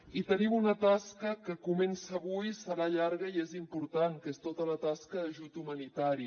i tenim una tasca que comença avui serà llarga i és important que és tota la tasca d’ajut humanitari